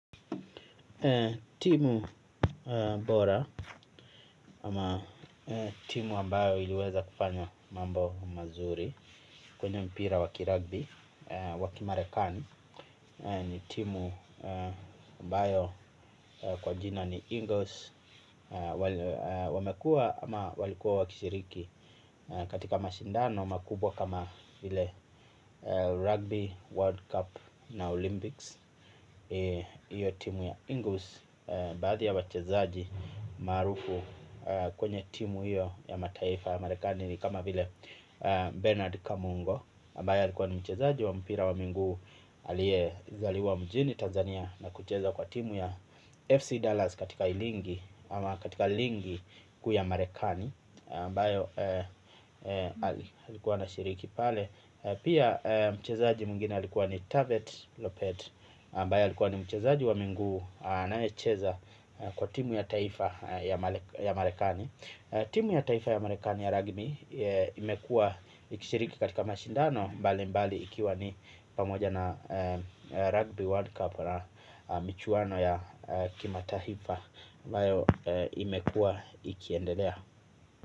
Timu bora ama timu ambayo iliweza kufanya mambo mazuri kwenye mpira wakirugbi wakimarekani ni timu ambayo kwa jina ni Ingles. Wamekua ama walikuwa wakishiriki katika mashindano makubwa kama ile rugby, world cup na olympics. Iyo timu ya Ingles. Baadhi ya wachezaji maarufu kwenye timu iyo ya mataifa ya marekani kama vile Bernard Kamungo ambaye alikuwa ni mchezaji wa mpira wa minguu alie zaliwa mjini Tanzania Na kucheza kwa timu ya FC Dollars katika ilingi ama katika ilingi kuya marekani mbayo alikuwa na shiriki pale. Pia mchezaji mwingine alikuwa ni Tavet Lopet Mbaye alikuwa ni mchezaji wa minguu na echeza kwa timu ya taifa ya marekani. Timu ya taifa ya marekani ya rugby imekua ikishiriki katika mashindano. Mbali mbali ikiwa ni pamoja na rugby world cup na michwano ya kimataifa mbaya imekua ikiendelea.